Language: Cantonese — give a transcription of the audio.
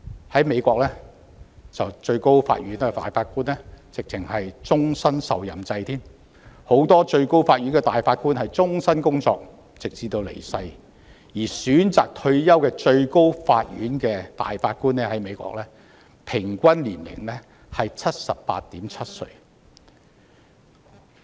在美國，最高法院大法官是終身受任制，許多最高法院大法官終身工作直至離世，而選擇退休的最高法院大法官的平均年齡為 78.7 歲。